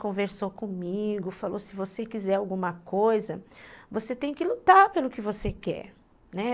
Conversou comigo, falou, se você quiser alguma coisa, você tem que lutar pelo que você quer, né.